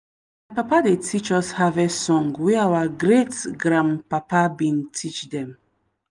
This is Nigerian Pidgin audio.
papa dey teach us harvest song wey our great-grandpapa bin teach them.